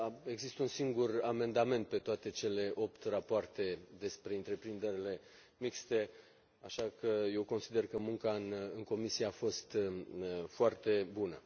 Există un singur amendament pe toate cele opt rapoarte despre întreprinderile mixte, așa că eu consider că munca în comisie a fost foarte bună.